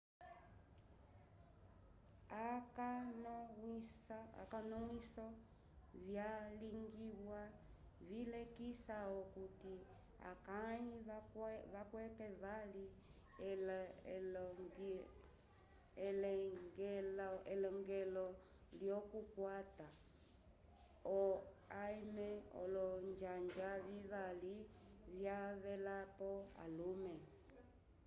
akonomwiso vyalingiwa vilekisa okuti akãyi vakwete vali eleñgelo lyokukwata o em olonjanja vivali vyavelapo alume